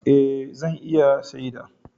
Eh, zan iya shaida.